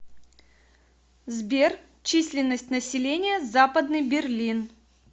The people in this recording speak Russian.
сбер численность населения западный берлин